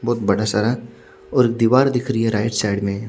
बोहोत बड़ा सारा और एक दीवार दिख रही है साइड में--